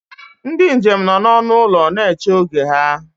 Ndị njem nọ n'ọnụ ụlọ na-eche oge ha